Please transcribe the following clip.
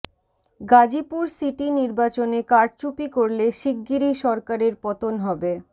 Gazipur city নির্বাচনে কারচুপি করলে শিগগিরই সরকারের পতন হবে